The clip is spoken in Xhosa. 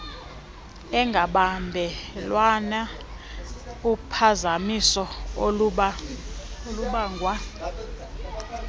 engabamelwane uphazamiso olubangwa